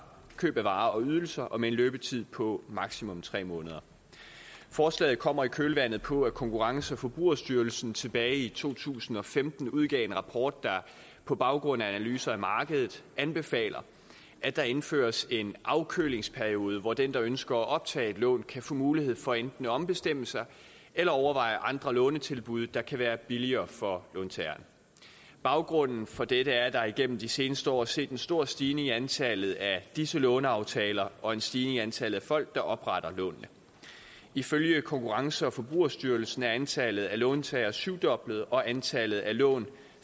køb af varer og ydelser og med en løbetid på maksimum tre måneder forslaget kommer i kølvandet på at konkurrence og forbrugerstyrelsen tilbage i to tusind og femten udgav en rapport der på baggrund af analyser af markedet anbefaler at der indføres en afkølingsperiode hvor den der ønsker at optage et lån kan få mulighed for enten at ombestemme sig eller overveje andre lånetilbud der kan være billigere for låntageren baggrunden for dette er at der igennem de seneste år er set en stor stigning i antallet af disse låneaftaler og en stigning i antallet af folk der opretter lånene ifølge konkurrence og forbrugerstyrelsen er antallet af låntagere syvdoblet og antallet af lån